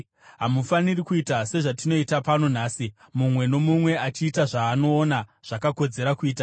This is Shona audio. Hamufaniri kuita sezvatinoita pano nhasi, mumwe nomumwe achiita zvaanoona zvakakodzera kuita,